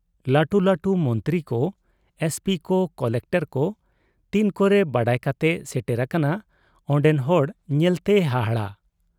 ᱞᱟᱹᱴᱩ ᱞᱟᱹᱴᱩ ᱢᱚᱱᱛᱨᱤ ᱠᱚ ,ᱮᱥᱯᱤ ᱠᱚ ᱠᱚᱞᱮᱠᱴᱚᱨ ᱠᱚ ᱛᱤᱱ ᱠᱚᱨᱮ ᱵᱟᱰᱟᱭ ᱠᱟᱛᱮ ᱥᱮᱴᱮᱨ ᱟᱠᱟᱱᱟ ᱚᱱᱰᱮᱱ ᱦᱚᱲ ᱧᱮᱞᱛᱮ ᱦᱟᱦᱟᱲᱟ ᱾